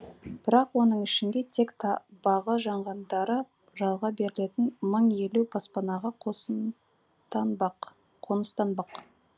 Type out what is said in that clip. бірақ оның ішінде тек бағы жанғандары жалға берілетін мың елу баспанаға қоныстанбақ